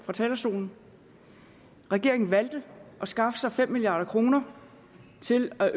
fra talerstolen regeringen valgte at skaffe fem milliard kroner til at